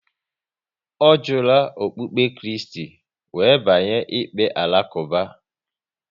Ọ jula okpukpe Kristi, wéré banye n'ikpe Alakuba